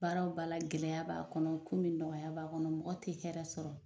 Baaraw o baara gɛlɛya b'a kɔnɔ komi nɔgɔya b'a kɔnɔ mɔgɔ te hɛrɛsɔrɔ